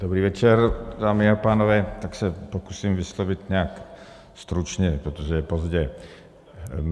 Dobrý večer, dámy a pánové, tak se pokusím vyslovit nějak stručně, protože je pozdě.